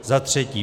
Za třetí.